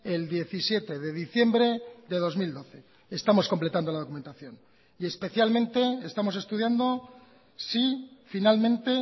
el diecisiete de diciembre de dos mil doce estamos completando la documentación y especialmente estamos estudiando si finalmente